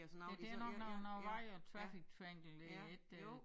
Ja det er nok noget noget vej og traffic triangle det ikke øh